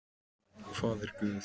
Hvað er guð?